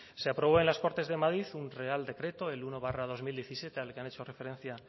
se aprobó en las cortes de madrid un real decreto el uno barra dos mil diecisiete al que han hecho referencia